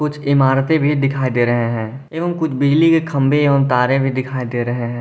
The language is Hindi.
कुछ इमारते भी दिखाई दे रहे हैं एवं कुछ बिजली के खंभे तारे एवं भी दिखाई दे रहे हैं।